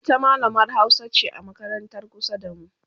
ita mallamar Hausa ce a makarantar kusa da mu